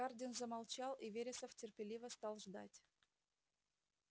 хардин замолчал и вересов терпеливо стал ждать